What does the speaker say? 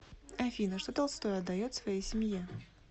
афина что толстой отдает своей семье